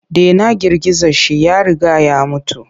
Dena girgiza shi ya riga ya mutu.